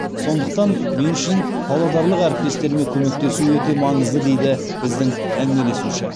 сондықтан мен үшін павлодарлық әріптестеріме көмектесу өте маңызды дейді біздің әңгімелесуші